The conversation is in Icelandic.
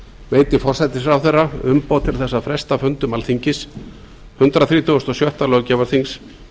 veiti forsætisráðherra umboð til þess að fresta fundum alþingis hundrað þrítugasta og sjötta löggjafarþings